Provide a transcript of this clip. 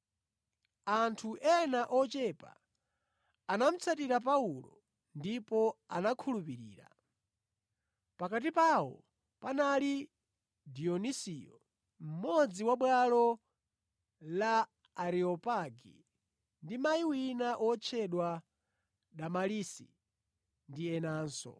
Anthu ena ochepa anamutsatira Paulo ndipo anakhulupirira. Pakati pawo panali Dionisiyo mmodzi wa bwalo la Areopagi ndi mayi wina wotchedwa Damalisi ndi enanso.